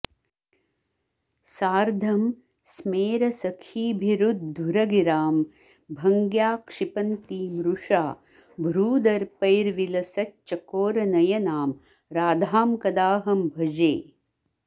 सार्धं स्मेरसखीभिरुद्धुरगिरां भङ्ग्या क्षिपन्तीं रुषा भ्रूदर्पैर्विलसच्चकोरनयनां राधां कदाहं भजे